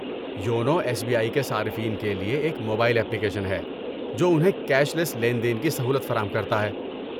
YONO S B I کے صارفین کے لیے ایک موبائل ایپلیکیشن ہے جو انہیں کیش لیس لین دین کی سہولت فراہم کرتا ہے۔